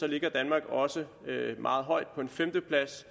ligger danmark også meget højt på en femteplads